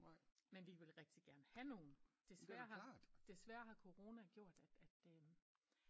Men vi vil rigtigt gerne have nogen desværre har Corona gjort at øm